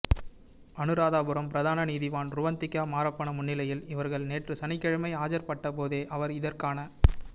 அநுராதபுரம் பிரதான நீதவான் றுவந்திகா மாரப்பன முன்னிலையில் இவர்கள் நேற்று சனிக்கிழமை ஆஜர்படுத்தப்பட்டபோதே அவர் இதற்கான